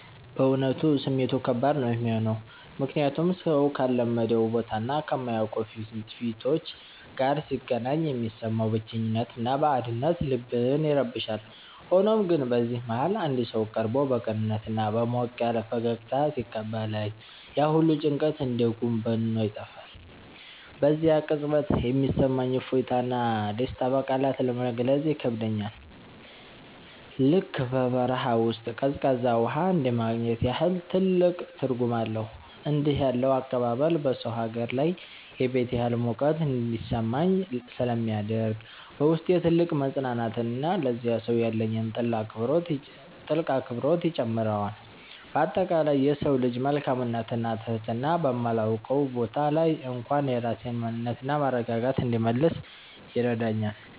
በእውነቱ ስሜቱ ከባድ ነው የሚሆነው፤ ምክንያቱም ሰው ካልለመደው ቦታና ከማያውቃቸው ፊቶች ጋር ሲገናኝ የሚሰማው ብቸኝነትና ባዕድነት ልብን ይረብሻል። ሆኖም ግን በዚህ መሃል አንድ ሰው ቀርቦ በቅንነትና በሞቅ ያለ ፈገግታ ሲቀበለኝ፣ ያ ሁሉ ጭንቀት እንደ ጉም በኖ ይጠፋል። በዚያ ቅጽበት የሚሰማኝ እፎይታና ደስታ በቃላት ለመግለጽ ይከብዳል፤ ልክ በበረሃ ውስጥ ቀዝቃዛ ውሃ እንደማግኘት ያህል ትልቅ ትርጉም አለው። እንዲህ ያለው አቀባበል በሰው ሀገር ላይ የቤት ያህል ሙቀት እንዲሰማኝ ስለሚያደርግ፣ በውስጤ ትልቅ መፅናናትንና ለዚያ ሰው ያለኝን ጥልቅ አክብሮት ይጨምረዋል። በአጠቃላይ የሰው ልጅ መልካምነትና ትህትና በማላውቀው ቦታ ላይ እንኳን የራሴን ማንነትና መረጋጋት እንድመልስ ይረዳኛል።